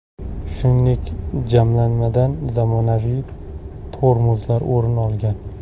Shuningdek, jamlanmadan zamonaviy tormozlar o‘rin olgan.